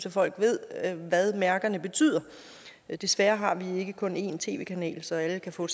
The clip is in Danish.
at folk ved hvad mærkerne betyder desværre har vi ikke kun en tv kanal så alle kan få